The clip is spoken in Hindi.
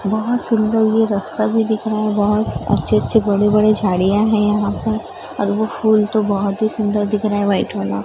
बहोत सुंदर ये रस्ता भी दिख रहा है बहोत अच्छे-अच्छे बड़े-बड़े झाड़ियां हैं यहां पर और वो फूल तो बहोत ही सुंदर दिख रहा हैं व्हाइट वाला।